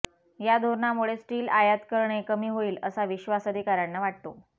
या धोरणामुळे स्टील आयात करणे कमी होईल असा विश्वास अधिकाऱ्यांना वाटतो